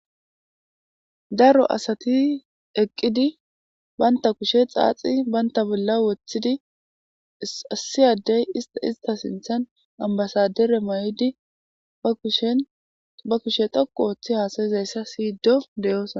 daro asati eqqidi baynta kushe xaaxi baynta bolla woththidi issi addey ista sinthan ambasadere ma7idi sba kushe toku ooththi haasayizayssa siyido deyosa